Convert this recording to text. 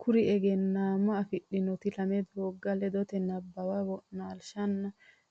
Kuri egenaa ma afidhannoti lame doogga ledote nabbawa wo naalshinni